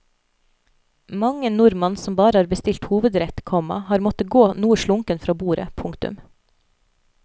Mang en nordmann som bare har bestilt hovedrett, komma har måtte gå noe slunken fra bordet. punktum